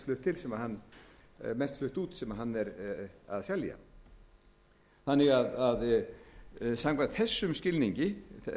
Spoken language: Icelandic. fisktegund er mest flutt út sem hann er að selja samkvæmt þessum skilningi